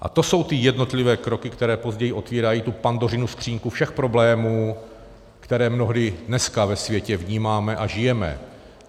A to jsou ty jednotlivé kroky, které později otevírají tu Pandořinu skříňku všech problémů, které mnohdy dneska ve světě vnímáme a žijeme.